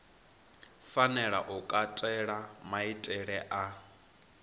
fanela u katela maitele a